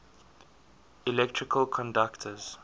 electrical conductors